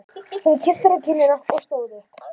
Hún kyssti hann á kinnina og stóð upp.